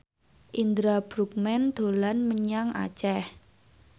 Indra Bruggman dolan menyang Aceh